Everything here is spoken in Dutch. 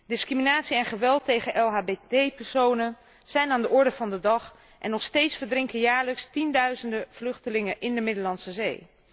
Discriminatie en geweld tegen LHBT personen zijn aan de orde van de dag en nog steeds verdrinken jaarlijks tienduizenden vluchtelingen in de Middellandse Zee.